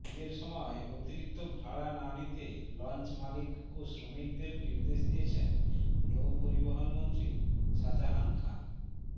ঈদের সময় অতিরিক্ত ভাড়া না নিতে লঞ্চমালিক ও শ্রমিকদের নির্দেশ দিয়েছেন নৌপরিবহনমন্ত্রী শাজাহান খান